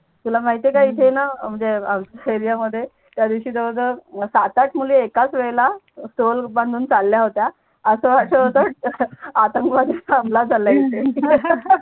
तुला माहीत आहे का इथे णा म्हणजे आमच्या एरयामध्ये त्या दिवसी जवड जवड सात आठ मुली एकाच वेळेला स्टोल बांधून चाल्या होत्या अस वाटत होत आतंकवादीचा हमला झाला इथे